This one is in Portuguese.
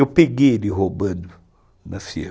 Eu peguei ele roubando na firma.